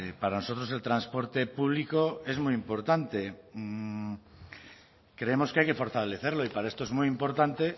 para nosotros el transporte público es muy importante creemos que hay que fortalecerlo y para esto es muy importante